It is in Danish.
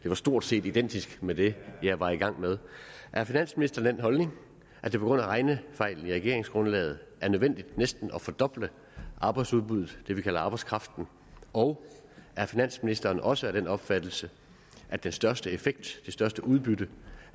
det var stort set identisk med det jeg var i gang med er finansministeren af den holdning at det på grund af regnefejlen i regeringsgrundlaget er nødvendigt næsten at fordoble arbejdsudbuddet det vi kalder arbejdskraften og er finansministeren også af den opfattelse at den største effekt det største udbytte